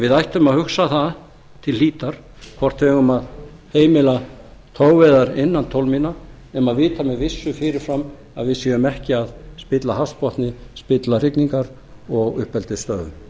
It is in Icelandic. við ættum að hugsa það til hlítar hvort við eigum að heimila togveiðar innan tólf mílna nema vita með vissu fyrir fram að við séum ekki að spilla hafsbotni spilla hrygningar og